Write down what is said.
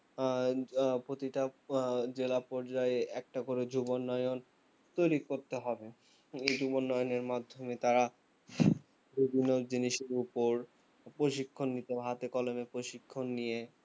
আহ আহ প্রতিটা আহ জেলা পর্যায়ে একটা করে যুব উন্নয়ন তৈরী করতে হবে এই যুব উন্নয়ন এর মাধ্যমে তারা বিভিন্ন জিনিসের উপর প্রশিক্ষণ নিতে হাতে কলমে প্রশিক্ষণ নিয়ে